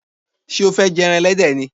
Sé o fé je eran elédè ni?